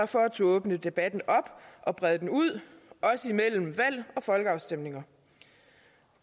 for at turde åbne debatten op og brede den ud også imellem valg og folkeafstemninger